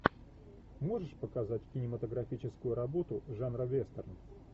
можешь показать кинематографическую работу жанра вестерн